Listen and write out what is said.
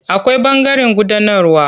Akwai ɓangaren gudanarwa.